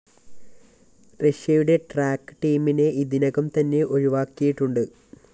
റഷ്യയുടെ ട്രാക്ക്‌ ടീമിനെ ഇതിനകം തന്നെ ഒഴിവാക്കിയിട്ടുണ്ട്